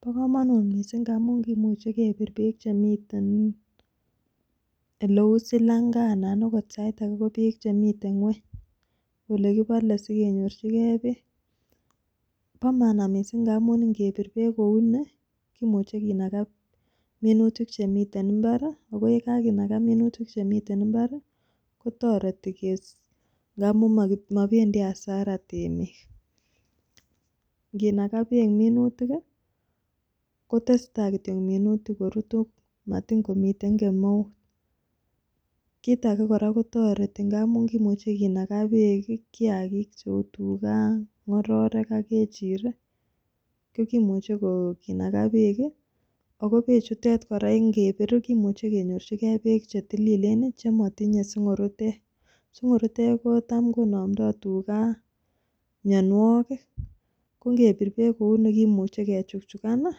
Bo komonut missing amun kimuche kepir beek chemiten oleu silanga anan okot ko sait ake ko bek chemiten ngweny olekipole sikenyorchigee beek. Bo maana missing ngamun ikepir beek kouni Kimuche kinaka minutik chemiten imbari ako yekakinaka minutik chemiten imbari kotoreti mess amun mopendii asara temik, inkinaka beek minutik kii kotesetai kityok minutik korutu matin komiten kemeut. Kit age koraa kotoreti ngamun kimuche kinaka beek kiyakik cheu tugaa, ngoroik ak ngechirek ko kimuche ko kinaka beek kii ako bechutok Koraa kimuche kenyorchigee beek chetililen nii chemotinye singurutek, singurutek kotam konomdo tugaa mionwokik ko nkepir beek kouni kimuche kechuchukan nii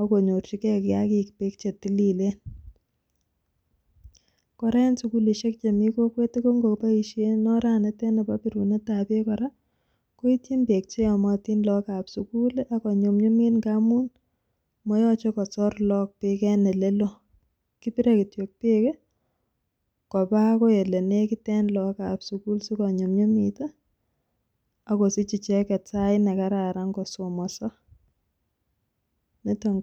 ak konyorchigee kiyakik beek chetililen. Koraa en sukulishek chemii kokwet tukuk koboishen oranitet nibo birunetab beek Koraa koityin beek cheyomotin lokab sukul lii ak konyumnyumit ngamun moyoche kosor lok beek en oleloo kipire kityok beek kii koba akoi ilenekit en lok ab sukul akonyumnyumit ngamun moyoche kosir Lok beek en oleloo kipire kityok beek kiii koba akoi olenekit ak lok ab sukul sikonyumnyumit tii akoisich icheket sait nekararan kosomoso niton ko.